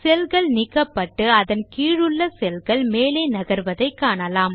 செல்கள் நீக்கப்பட்டு அதன் கீழுள்ள செல்கள் மேலே நகர்வதை காணலாம்